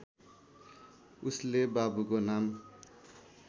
उसले बाबुको नाम